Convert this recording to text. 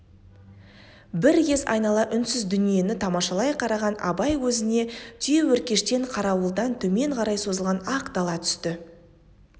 бір кез айнала үнсіз дүниені тамашалай қараған абай көзіне түйеөркештен қарауылдан төмен қарай созылған ақ дала түсті